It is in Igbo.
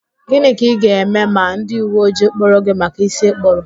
Gịnị ka ị ga-eme ma ndị uwe ojii kpụrụ gị maka ísí ịkpụrụ?